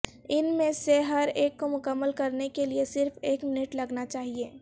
ان میں سے ہر ایک کو مکمل کرنے کے لئے صرف ایک منٹ لگنا چاہئے